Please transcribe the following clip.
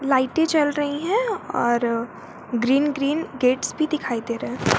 लाइटें जल रही है और ग्रीन ग्रीन गेट्स भी दिखाई दे रहा है।